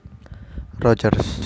Rogers